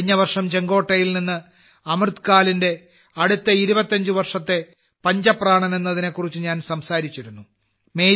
കഴിഞ്ഞ വർഷം ചെങ്കോട്ടയിൽ നിന്ന് അമൃത കാലത്തെ 25 വർഷത്തെ പഞ്ചപ്രാണൻഎന്നതിനെ കുറിച്ച് ഞാൻ സംസാരിച്ചിരുന്നു